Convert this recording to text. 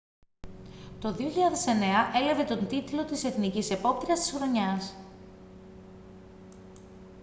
το 2009 έλαβε τον τίτλο της εθνικής επόπτριας της χρονιάς